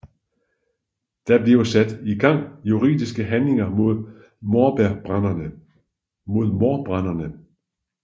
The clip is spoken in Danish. Der bliver sat i gang juridiske handlinger mod mordbrænderne